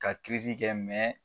Ka kɛ